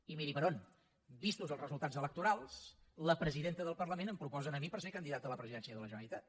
i miri per on vistos els resultats electorals la presidenta del parlament em proposa a mi per ser candidat a la presidència de la generalitat